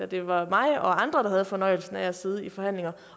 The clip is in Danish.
det var mig og andre der havde fornøjelsen af at sidde i forhandlinger